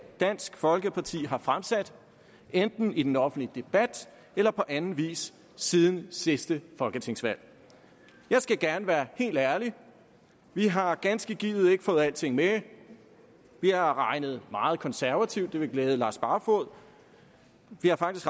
dansk folkeparti har fremsat enten i den offentlige debat eller på anden vis siden sidste folketingsvalg jeg skal gerne være helt ærlig vi har ganske givet ikke fået alting med vi har regnet meget konservativt det vil glæde herre lars barfoed vi har faktisk